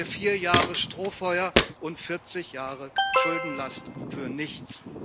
Dann haben wir vier Jahre Strohfeuer und 40 Jahre Schuldenlast für nichts.